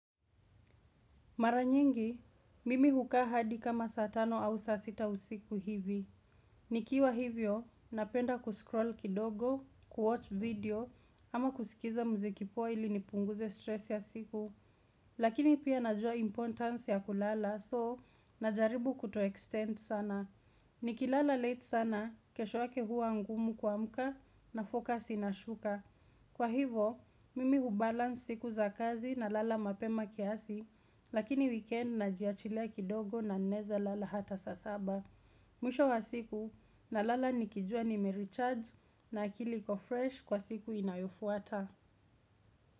Maranyingi, mimi hukahadi kama satano au sasita usiku hivi. Nikiwa hivyo, napenda kuscroll kidogo, kuwatch video, ama kusikiza mzikipo poa ili nipunguze stress ya siku. Lakini pia najwa importance ya kulala, soo, najaribu kuto extend sana. Nikilala late sana, keshoyake hua ngumu kua mka, nafokasi ina shuka. Kwa hivo, mimi hubalans siku za kazi na lala mapema kiasi, lakini weekend na jiachile kidogo na naeza lala hata saa saba. Mwisho wa siku na lala nikijua nime recharge na akili iko fresh kwa siku inayofuata.